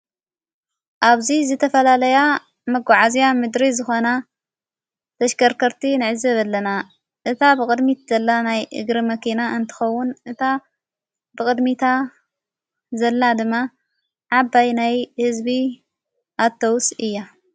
ኣብዙይ ዝተፈላለያ መጕዓእዝያ ምድሪ ዝኾና ተሽከርከርቲ ነዕዝ አለና። እታ ብቕድሚት ዘላ ናይ እግሪ መኪና እንትኸውን፤ እታ ብቕድሚታ ዘላ ድማ ዓባይ ናይ ሕዝቢ ኣተውስ እያ።